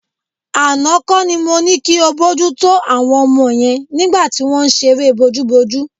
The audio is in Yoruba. Àná kọ́ ni mo ní kí o bójútó àwọn ọmọ yẹn nígbà tí wọ́n ń ṣeré bojúbojú.